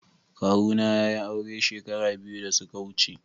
Kawuna ya yi aure shekara biyu da suka wuce.